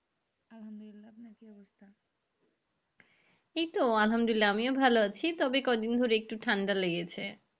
এই তো আলহামদুল্লিয়া আমিও ভালো আছি তবে কয়দিন ধরে একটু ঠান্ডা লেগেছে।